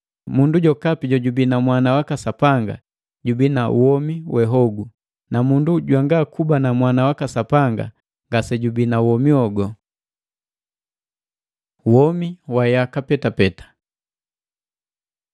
Mundu jokapi jojubii na Mwana waka Sapanga jubii na womi we hogu; na mundu jwanga kuba na Mwana waka Sapanga, ngasejubii na womi. Womi wa yaka petapeta